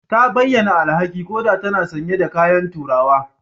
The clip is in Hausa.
Ta bayyana alhaki koda tana sanye da kayan turawa